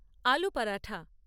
আলু পরাঠা